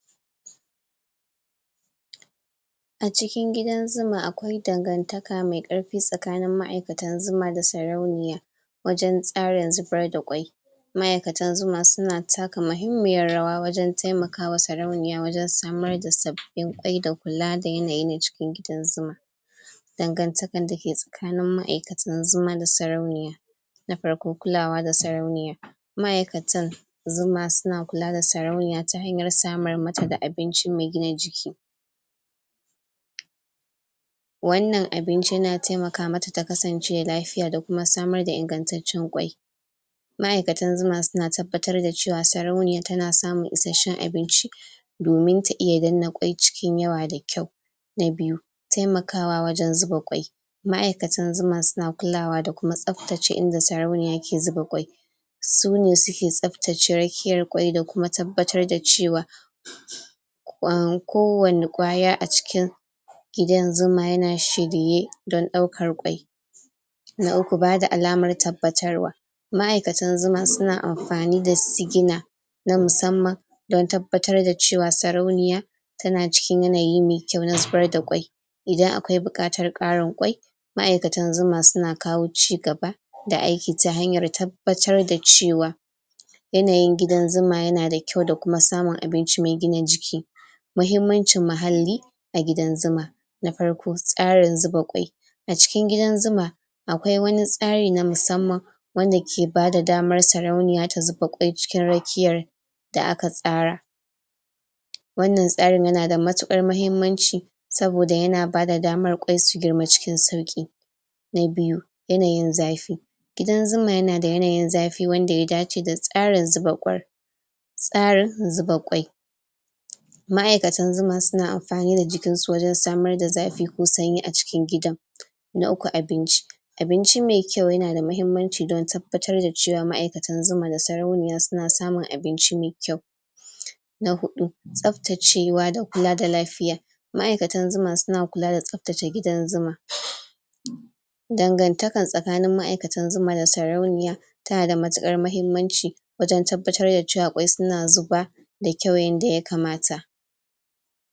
A cikin gidan zuma akwai dangantaka mai karfi tsakanin ma'aikantan zuma da sarauniya wajen tsarin zubar da kwai ma'aikatan zuma suna taka mahimmiyar rawa wajen taimakawa sarauniya wajen samar da sabbin kwai da kula da yanayi na cikin gidan zuma dangantakan da take tsakanin ma'aikatan zuma da sarauniya na farko kulawa da sarauniyar ma'aikatan zuma suna kula da sarauniya ta hanyar samar mata da abinci mai gina jiki wannan abinci na taimaka mata ta kasance lafiya da kuma samar da ingattacen kwai ma'aikatan zuma suna tabbatar da cewa sarauniyar tana samun isashshen abinci domin ta iya danne kwai cikin yawa da kyau na biyu taimakawa wajen zuba kwai ma'aikatan zuma suna kulawa da kuma tsaftace inda sarauniya ke zuba kwai sune suke tsaftace rakiyar kwai da kuma tabbatar da cewa? kwan.. ko wani kwaya a cikin gidan zuma yana shirye don ɗaukar kwai na uku bada alamar tabbatarwa ma'aikatan zuma suna amfani da sigina na musamman don tabbatar da cewa sarauniya tana cikin yanayi mai kyau na zubar da kwai idan akwai buƙatar ƙarin kwai ma'aikatan zuma suna kawo ci gaba ta hanyar tabbatar da cewa yanayin gidan zuma yana da kyau da samun abinci mai gina jiki muhimmancin mahalli a gidan zuma na farko tsarin zuba kwai a cikin gidan zuma akwai wani tsari na musamman wanda ke bada damar sarauniya ta zuba kwai cikin rakiyar da aka tsara wannan tsarin yana da matuƙar mahimmanci saboda yana bada damar kwai su girma cikin sauƙi na biyu yanayin zafi gidan zuma yana da yanayin zafi wanda ya dace da tsarin zuba kwar tsarin zuba kwai ma'aikatan zuma suna amfani da jikinsu wajen samar da zafi ko sanyi a cikin gidan na uku abinci abinci me kyau yana da mahimmanci don tabbatar da cewa ma'aikatan zuma da sarauniya suna samun abinci mai kyau na huɗu tsaftacewa da kula da lafiya ma'aikatan zuma suna kula da tsaftace gidan zuma? dangantakan tsakanin ma'aikatan zuma da sarauniya yana da matuƙar mahimmanci wajen tabbatar da cewa kwai suna zuba da kyau yanda ya kamata